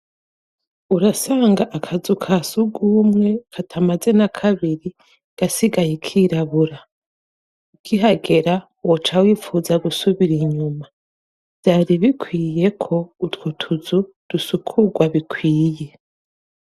urasanga akazu kasugumwe katamaze n'a kabiri gasigaye kirabura ukihagera wocawifuza gusubira inyuma byari bikwiye ko utwutuzu dusukurwa bikwiye